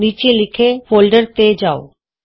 ਨੀਚੇ ਲਿਖੇ ਫੋਲਡਰ ਤੇ ਜਾਉ